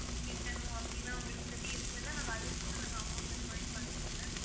கட்டணும் அப்படி எல்லாம் உங்களுக்கு எப்படி இருந்ததுன்னா நாங்க அதுக்கு கூட நாங்க amount provide பண்றோம் ma'am